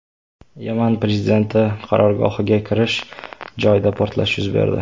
Yaman prezidenti qarorgohiga kirish joyida portlash yuz berdi.